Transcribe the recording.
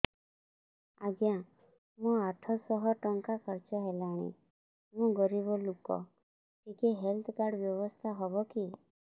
ଆଜ୍ଞା ମୋ ଆଠ ସହ ଟଙ୍କା ଖର୍ଚ୍ଚ ହେଲାଣି ମୁଁ ଗରିବ ଲୁକ ଟିକେ ହେଲ୍ଥ କାର୍ଡ ବ୍ୟବସ୍ଥା ହବ କି